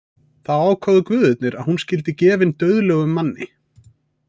Þá ákváðu guðirnir að hún skyldi gefin dauðlegum manni.